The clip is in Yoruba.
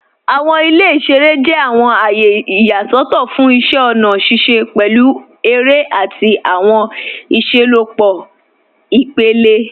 Awọn ilẹ̀ iṣẹ̀rẹ̀ jẹ̀ awọn ayé iyaṣọtọ̀ fún iṣẹ̀ ọ̀na ṣiṣẹ̀, pẹ̀lú èrẹ̀ ati awọn iṣẹlọpọ̀ ipẹ̀lẹ.